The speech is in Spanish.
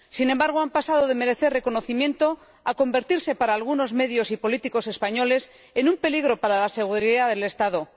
Sin embargo, han pasado de merecer reconocimiento a convertirse, para algunos medios y políticos españoles, en un peligro para la seguridad del Estado.